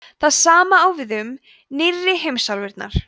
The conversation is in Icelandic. það sama á við um „nýrri“ heimsálfurnar